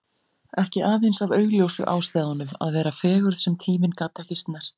Ekki aðeins af augljósu ástæðunum: Að vera fegurð sem tíminn gat ekki snert.